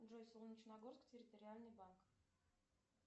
джой солнечногорск территориальный банк